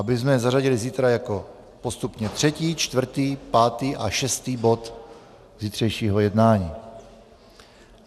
Abychom je zařadili zítra jako postupně třetí, čtvrtý, pátý a šestý bod zítřejšího jednání.